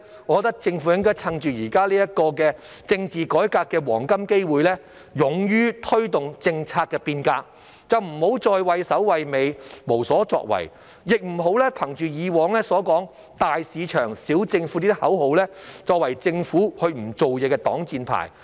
我認為政府應該趁現時政治改革的黃金機會，勇於推動政策變革，不要再畏首畏尾，無所作為，亦不要憑藉過往倡議的"大市場，小政府"這個口號作為政府不做事的擋箭牌。